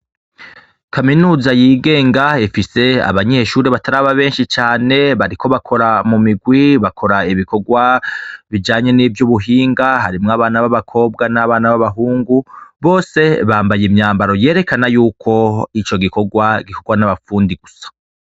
Kaminuza yigenga ifise abanyeshuri bataraba benshi cane, bariko bakora mu migwi, bakora ibikorwa bijanye n'ivyo ubuhinga, harimwo abana b'abakobwa n'abana b'abahungu bose bambaye imyambaro yerekana yuko ico gikorwa gikorwa n'abafundi gusa.